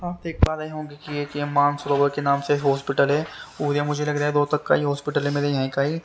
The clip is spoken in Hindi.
आप देख पा रहे होंगे कि एक ये मानसरोवर के नाम से हॉस्पिटल है और ये मुझे लगा रहा है रोहतक का ही हॉस्पिटल है मेरे यही का ही।